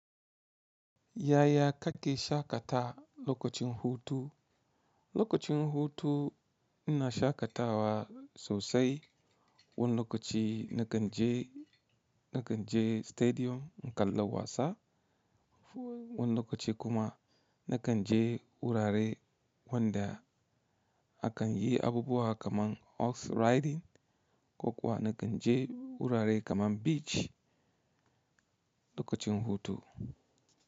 Yaya kake shaƙata lokacin hutu? Lokacin hutu ina shaƙatawa sosai. Wani lokaci na kan je, na kan je stadium in kalla wasa. Wani lokaci kuma na kan je wurare wanda a kan yi abubuwa kamar horse riding ko kuwa na kan je wurare kamar beach lokacin hutu.